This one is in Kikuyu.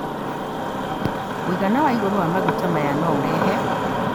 Mũigana wa igũrũ wa maguta maya no ũrehe